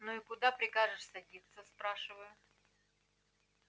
ну и куда прикажешь садиться спрашиваю